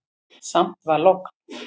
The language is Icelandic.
Samt var logn.